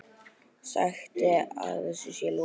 Sagt að þessu sé lokið.